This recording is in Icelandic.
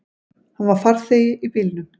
Hann var farþegi í bílnum.